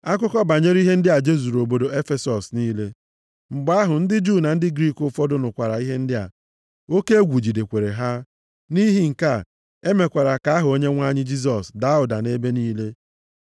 Akụkọ banyere ihe ndị a jezuru obodo Efesọs niile. Mgbe ahụ, ndị Juu na ndị Griik ụfọdụ nụkwara ihe ndị a. Oke egwu jidekwara ha. Nʼihi nke a, e mekwara ka aha Onyenwe anyị Jisọs daa ụda nʼebe niile.